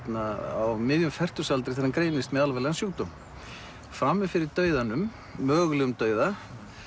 á miðjum fertugsaldri þegar hann greinist með alvarlegan sjúkdóm frammi fyrir dauðanum mögulegum dauða